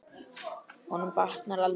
Honum batnar aldrei.